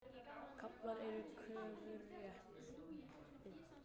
Kaflar úr kröfurétti.